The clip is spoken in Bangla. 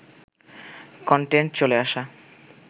কনটেন্ট চলে আসা